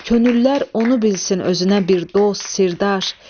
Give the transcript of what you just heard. Könüllər onu bilsin özünə bir dost, sirdaş.